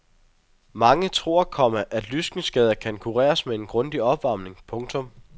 Mange tror, komma at lyskenskader kan kureres med en grundig opvarmning. punktum